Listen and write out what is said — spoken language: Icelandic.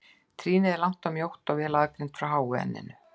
Trýnið er langt og mjótt og vel aðgreint frá háu enninu.